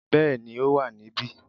Yes, it's here